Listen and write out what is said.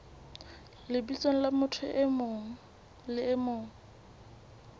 lebitsong la motho e mong